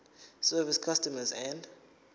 service customs and